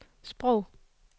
sprog